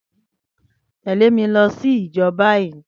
tẹle mi si ijo bayi!